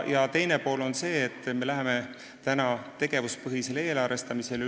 Teine osa on see, et me läheme üle tegevuspõhisele eelarvestamisele.